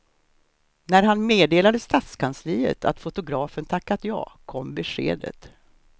När han meddelade stadskansliet att fotografen tackat ja kom beskedet.